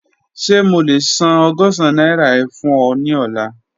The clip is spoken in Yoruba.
Ṣe mo le san ọgọ́sán naira e fun ọ ni ọla?